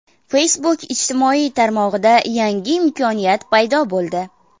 Facebook ijtimoiy tarmog‘ida yangi imkoniyat paydo bo‘ldi.